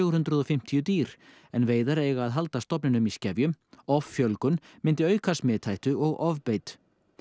hundruð og fimmtíu dýr en veiðar eiga að halda stofninum í skefjum offjölgun myndi auka smithættu og ofbeit